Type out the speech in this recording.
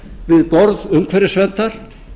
við borð umhverfisverndar